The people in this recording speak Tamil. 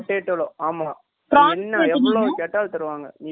கேட்டாலும் தருவாங்க நீ prawns யே கேட்டுட்டே இருந்தாலும் தந்துட்டே இருப்பாங்க